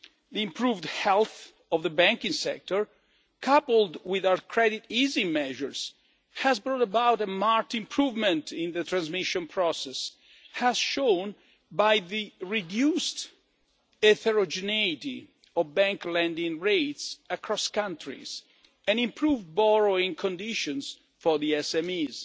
area. The improved health of the banking sector, coupled with our credit easing measures, has brought about a marked improvement in the transmission process, as shown by the reduced heterogeneity of bank lending rates across countries, and by the improved borrowing conditions for